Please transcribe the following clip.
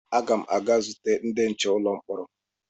Aga m aga zute ndị nche ụlọ mkpọrọ